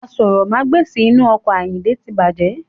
Aṣórómagbesìn inu ọkọ̀ ayinde tí bàjẹ́.